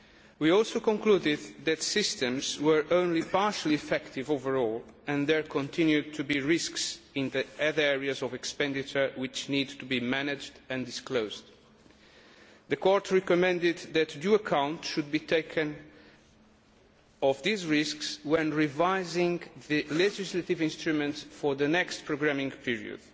We also concluded that systems were only partly effective overall and that there continued to be risks in the other areas of expenditure, which need to be managed and disclosed. The Court recommended that due account should be taken of these risks when revising the legislative instrument for the next programming period.